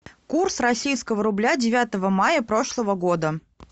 курс российского рубля девятого мая прошлого года